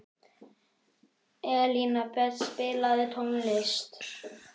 Elínbet, spilaðu tónlist.